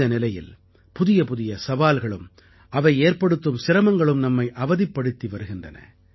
இந்த நிலையில் புதியபுதிய சவால்களும் அவை ஏற்படுத்தும் சிரமங்களும் நம்மை அவதிப்படுத்தி வருகின்றன